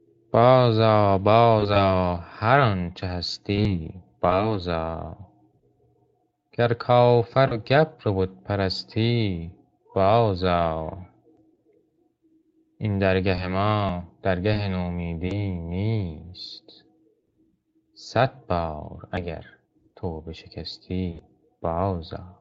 باز آ باز آ هر آنچه هستی باز آ گر کافر و گبر و بت پرستی باز آ این درگه ما درگه نومیدی نیست صد بار اگر توبه شکستی باز آ